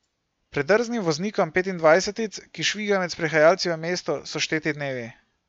Predrznim voznikom petindvajsetic, ki švigajo med sprehajalci v mestu, so šteti dnevi.